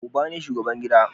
Uba ne shugaban gida